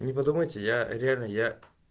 не подумайте я реально я